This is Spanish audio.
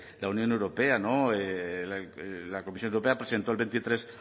la unión europea no la comisión europea presentó el veintitrés